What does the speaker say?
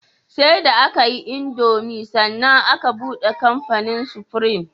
Sai da akayi indomie sannan aka buɗe kamfanin supreme